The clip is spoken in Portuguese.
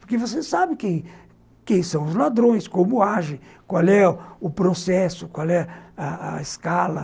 Porque você sabe quem quem são os ladrões, como agem, qual é o processo, qual é a escala.